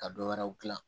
Ka dɔ wɛrɛw dilan